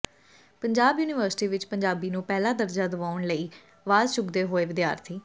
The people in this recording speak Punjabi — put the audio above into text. ਪੰਜਾਬ ਯੂਨੀਵਰਸਿਟੀ ਵਿਚ ਪੰਜਾਬੀ ਨੂੰ ਪਹਿਲਾ ਦਰਜਾ ਦਵਾਉਣ ਲਈ ਅਵਾਜ਼ ਚੁੱਕਦੇ ਹੋਏ ਵਿਦਿਆਰਥੀ